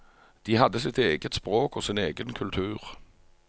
De hadde sitt eget språk og sin egen kultur.